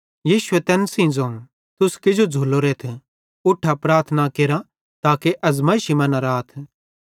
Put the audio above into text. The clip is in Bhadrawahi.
यीशुए तैन सेइं ज़ोवं तुस किजो झ़ुल्लोरेथ उठा ते प्रार्थना केरा ताके अज़मैइशी मां न राथ